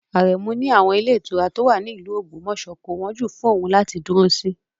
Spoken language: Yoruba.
Aremu ní àwọn ilé ìtura tó wà ní ìlú Ogbomoso kò wọ́n jù fún òun láti dúró sí